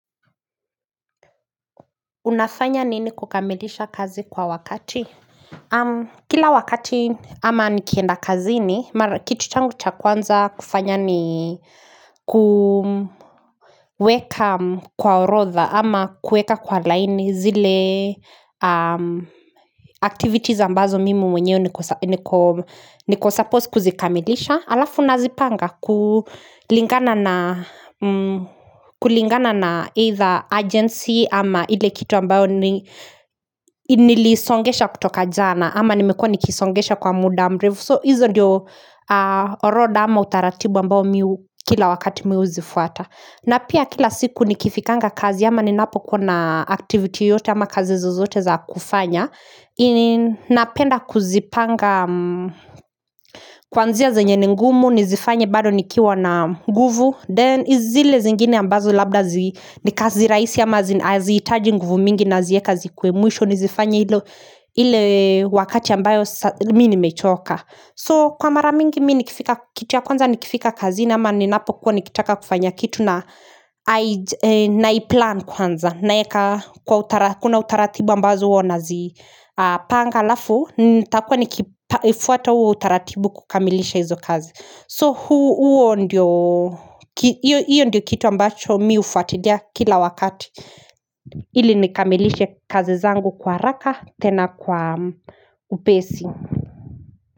Unafanya nini kukamilisha kazi kwa wakati? Kila wakati ama nikienda kazini, kitu changu cha kwanza kufanya ni kuweka kwa orodha ama kueka kwa laini zile activities ambazo mimi mwenyewe niko supposed kuzikamilisha Alafu nazipanga kulingana na either agency ama ile kitu ambayo nilisongesha kutoka jana ama nimekua nikisongesha kwa muda mrefu So hizo ndio oroda ama utaratibu ambayo kila wakati mi huzifuata na pia kila siku nikifikanga kazi ama ninapokuwa na activity yoyote ama kazi zozote za kufanya napenda kuzipanga kuanzia zenye ni ngumu Nizifanye bado nikiwa na nguvu Then zile zingine ambazo labda zi ni kazi raisi ama haziitaji nguvu mingi nazieka zikuwe mwisho nizifanye ile wakati ambayo mi nimechoka So kwa mara mingi kitu ya kwanza nikifika kazini ama ninapokuwa nikitaka kufanya kitu na Naiplan kwanza naeka kuna utaratibu ambazo huwa nazipanga alafu nitakua nikifuata uo utaratibu kukamilisha hizo kazi So huo ndio kitu ambacho mi ufuatilia kila wakati ili nikamilishe kazi zangu kwa haraka tena kwa upesi.